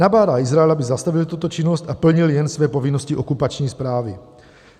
Nabádá Izrael, aby zastavil tuto činnost a plnil jen své povinnosti okupační správy.